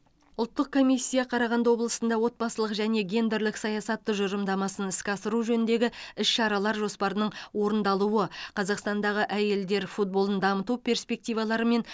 ұлттық комиссия қарағанды облысында отбасылық және гендерлік саясат тұжырымдамасын іске асыру жөніндегі іс шаралар жоспарының орындалуы қазақстандағы әйелдер футболын дамыту перспективаларымен